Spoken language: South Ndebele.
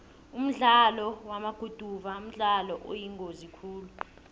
umdlalo wamaguduva mdlalo oyingozi khulu